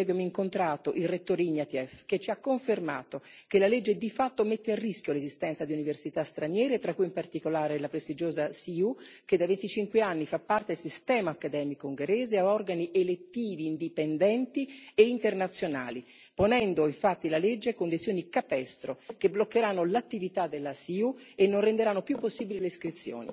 abbiamo incontrato il rettore Ignatieff, che ci ha confermato che la legge di fatto mette a rischio l'esistenza di università straniere, tra cui in particolare la prestigiosa CEU, che da 25 anni fa parte del sistema accademico ungherese, ha organi elettivi indipendenti e internazionali, ponendo infatti la legge condizioni capestro che bloccheranno l'attività della CEU e non renderanno più possibili le iscrizioni.